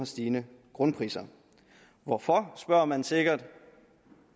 stigende grundpriser hvorfor spørger man sikkert